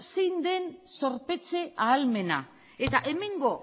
zein den zorpetze ahalmena eta hemengo